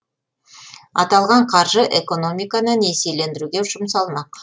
аталған қаржы экономиканы несиелендіруге жұмсалмақ